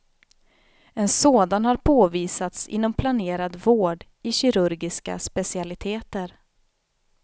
En sådan har påvisats inom planerad vård i kirurgiska specialiteter.